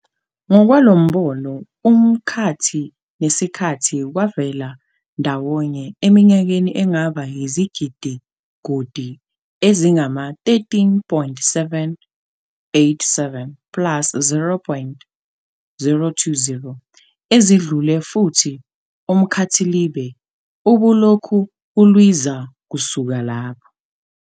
Ngokwalombono, umkhathi nesikhathi kwavela ndawonye eminyakeni engaba izigidigudi ezingama-13.787 ±0.020 ezidlule, futhi umkhathilibe ubulokhu ulwiza kusuka lapho.